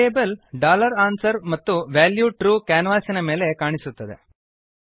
variable answer ಮತ್ತು value true ಕ್ಯಾನ್ವಾಸಿನ ಮೇಲೆ ಕಾಣಿಸುತ್ತದೆ